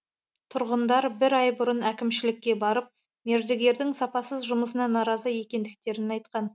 тұрғындар бір ай бұрын әкімшілікке барып мердігердің сапасыз жұмысына наразы екендіктерін айтқан